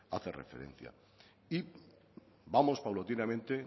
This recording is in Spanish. hace referencia y vamos paulatinamente